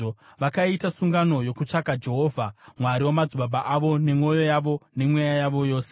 Vakaita sungano yokutsvaka Jehovha, Mwari wamadzibaba avo, nemwoyo yavo nemweya yavo yose.